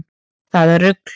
Það var rugl